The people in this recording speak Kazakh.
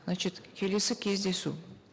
значит келесі кездесу